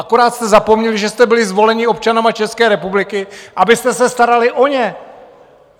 Akorát jste zapomněli, že jste byli zvoleni občany České republiky, abyste se starali o ně.